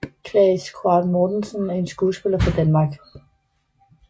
Claes Quaade Mortensen er en skuespiller fra Danmark